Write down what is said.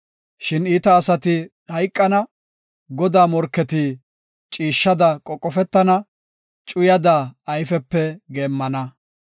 Shin iita asati hayqana; Godaa morketi ciishshada qoqofetana; cuyada ayfepe geemmana.